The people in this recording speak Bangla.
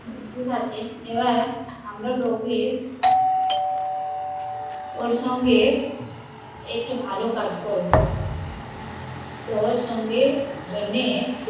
ঠিকাছে এবার আমারা ওর সঙ্গে একটা ভালো কাজ করবো তো ওর সঙ্গে জন্যে